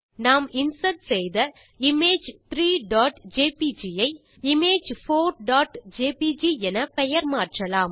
நாம் இன்சர்ட் செய்த இமேஜ் 3ஜேபிஜி ஐ image4ஜேபிஜி என பெயர் மாற்றலாம்